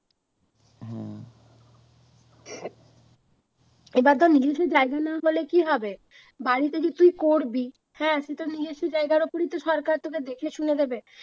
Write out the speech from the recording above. এবার ধর নিজস্ব জায়গা না হলে কি হবে বাড়িটা যে তুই করবি হ্যাঁ সেটা নিজস্ব জায়গার ওপরেই তো সরকার তোকে দেখে শুনে দেবে।